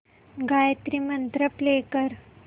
Gayatri mantra play कर